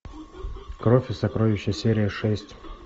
кровь и сокровища серия шесть